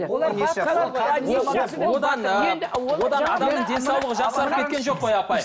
денсаулығы жақсарып кеткен жоқ қой апай